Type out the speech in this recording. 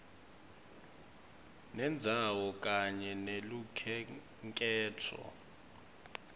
sendzawo kanye nelukhenkhetfo